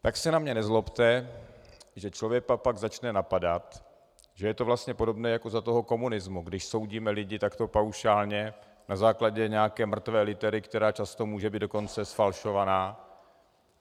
Tak se na mě nezlobte, že člověka pak začne napadat, že je to vlastně podobné jako za toho komunismu, když soudíme lidi takto paušálně, na základě nějaké mrtvé litery, která často může být dokonce zfalšovaná.